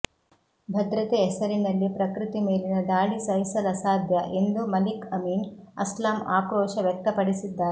ಭದ್ರತೆ ಹೆಸರಿನಲ್ಲಿ ಪ್ರಕೃತಿ ಮೇಲಿನ ದಾಳಿ ಸಹಿಸಲಸಾಧ್ಯ ಎಂದು ಮಲಿಕ್ ಅಮೀನ್ ಅಸ್ಲಾಂ ಆಕ್ರೋಶ ವ್ಯಕ್ತಪಡಿಸಿದ್ದಾರೆ